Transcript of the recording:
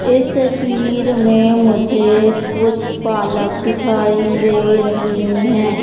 इस तस्वीर में मुझे कुछ पालक दिखाई दे रही है।